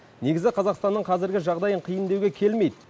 негізі қазақстанның қазіргі жағдайын қиын деуге келмейді